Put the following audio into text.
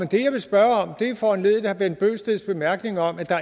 det jeg vil spørge om er foranlediget af herre bent bøgsteds bemærkning om at der